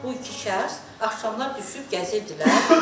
Bu iki şəxs axşamlar düşüb gəzirdilər həyətdə.